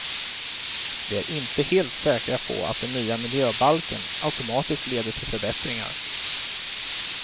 Vi är inte helt säkra på att den nya miljöbalken automatiskt leder till förbättringar.